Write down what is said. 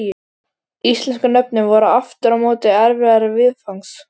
Íslensku nöfnin voru aftur á móti erfiðari viðfangs.